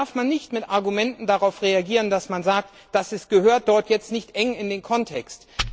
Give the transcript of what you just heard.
Da darf man nicht mit Argumenten reagieren, dass man sagt, das gehört dort nicht eng in den Kontext.